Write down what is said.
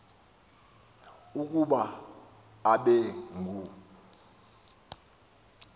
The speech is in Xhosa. ukuba abe ngu